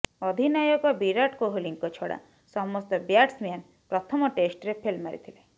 ଅଧିନାୟକ ବିରାଟ କୋହଲିଙ୍କ ଛଡ଼ା ସମସ୍ତ ବ୍ୟାଟ୍ସମ୍ୟାନ ପ୍ରଥମ ଟେଷ୍ଟରେ ଫେଲ ମାରିଥିଲେ